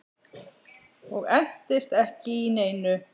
Og entist ekki í neinu.